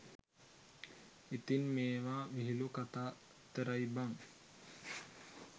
ඉතින් මේව විහිලු කතා විතරයි බන්